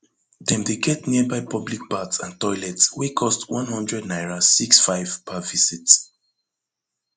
dem dey get nearby public bath and toilet wey cost one hundred naira six five per visit